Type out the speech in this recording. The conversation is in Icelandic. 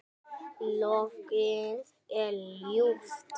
Lognið er ljúft.